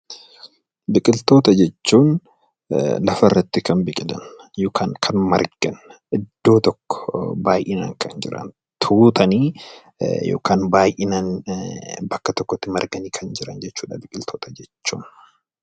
Biqiltoota jechuun lafa irratti Kan biqilan yookaan Kan margan iddoo tokko baay'inaan Kan jiran tuutanii yookaan baay'inaan bakka tokkotti marganii Kan jiran jechuudha biqiltoota jechuun.